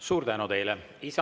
Suur tänu teile!